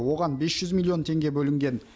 оған бес жүз миллион теңге бөлінген